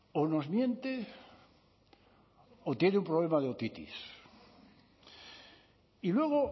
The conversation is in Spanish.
o nos miente o tiene un problema de otitis y luego